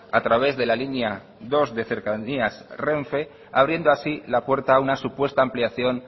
a través de la línea dos de cercanías renfe abriendo así la puerta a una supuesta ampliación